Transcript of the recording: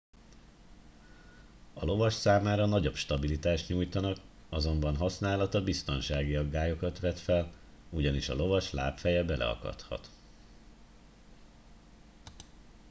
a lovas számára nagyobb stabilitást nyújtanak azonban használata biztonsági aggályokat vet fel ugyanis a lovas lábfeje beleakadhat